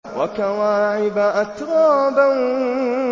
وَكَوَاعِبَ أَتْرَابًا